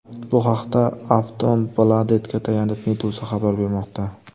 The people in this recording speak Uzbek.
Bu haqda Aftonbladet’ga tayanib, Meduza xabar bermoqda .